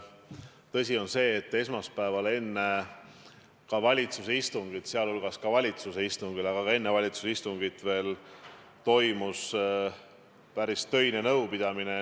Tõsi on see, et esmaspäeval enne valitsuse istungit toimus päris töine nõupidamine ja seda arutati ka valitsuse istungil.